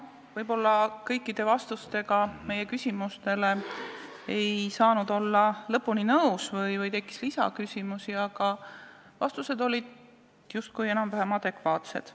Võib-olla kõikide vastustega ei saanud olla lõpuni nõus või tekkis lisaküsimusi, aga vastused olid justkui enam-vähem adekvaatsed.